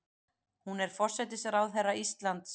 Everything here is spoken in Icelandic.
Hún er forsætisráðherra Íslands.